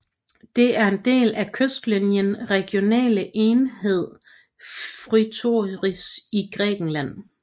Det er en del af kystlinjen regionale enhed Fthiotis i Grækenland